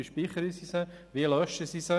Wie speichern und löschen sie diese?